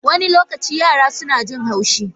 Wani lokaci yara suna jin haushi.